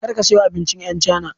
Kar ka siyo abincin yan chana